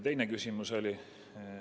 Teine küsimus oli ...